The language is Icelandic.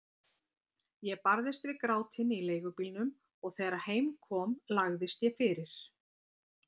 Ég barðist við grátinn í leigubílnum og þegar heim kom lagðist ég fyrir.